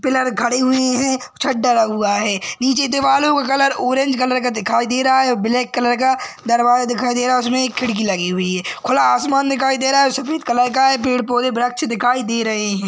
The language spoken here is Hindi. पिलर खड़े हुए हैं छत डला हुआ हैं निचे दीवारो का कलर ऑरेंज कलर का दिखाई दे रहा हैं और ब्लैक कलर का दरवाजा दिखाई दे रहा उसमे एक खिड़की लगी हुई हैं खुला आसमान दिखाई दे रहा हैं और सफ़ेद कलर का हैं पेड़ पौधे वृक्ष दिखाई दे रहे हैं।